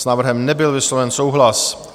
S návrhem nebyl vysloven souhlas.